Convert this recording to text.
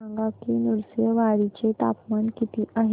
सांगा की नृसिंहवाडी चे तापमान किती आहे